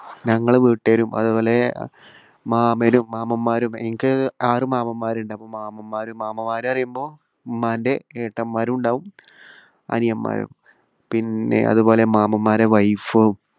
ഞങ്ങളുടെ വീട്ടുകാരും അതുപോലെ മാമനും മാമ്മൻമാരും എനിക്ക് ആറു മാമ്മൻമാരുണ്ട്. അപ്പോ മാമ്മൻമാരും മാമ്മൻമാര് എന്നു പറയുമ്പോൾ ഉമ്മാന്റെ ഏട്ടന്മാരുമുണ്ടാകും അനിയന്മാരും. പിന്നെ അതുപോലെ മാമ്മൻമാരുടെ wife ഉം